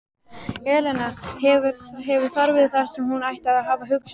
Elena hefur þarfir þar sem hún ætti að hafa hugsanir.